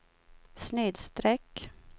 snedsträck